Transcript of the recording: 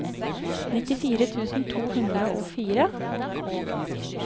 nittifire tusen to hundre og fire